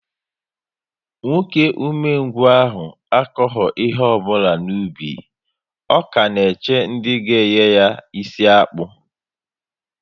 Nwoke ume ngwu ahụ akoghi ihe ọbụla n'ubi, ọ ka na-eche ndị ga enye ya isi akpu